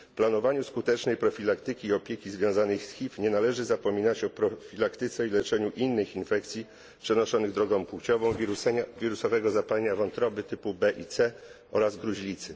Przy planowaniu skutecznej profilaktyki i opieki związanej z HIV nie należy zapominać o profilaktyce i leczeniu innych infekcji przenoszonych drogą płciową wirusowego zapalenia wątroby typu B i C oraz gruźlicy.